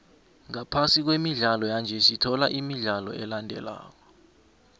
ngaphasi kwemidlalo yanje sithola imidlalo elandelako